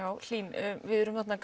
Hlín við erum þarna